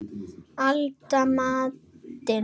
Elda matinn.